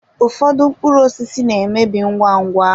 Ụfọdụ mkpụrụ osisi na-emebi ngwa ngwa.